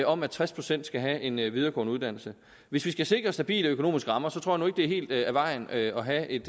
om at tres procent skal have en videregående uddannelse hvis vi skal sikre stabile økonomiske rammer tror nu at det er helt af vejen at have et